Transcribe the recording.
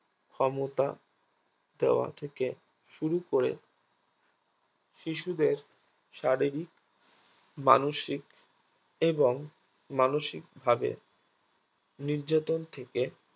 ক্ষমতা দেয়া থেকে শুরু করে শিশুদের শারীরিক মানসিক এবং মানসিক ভাবে নির্যাতন থেকে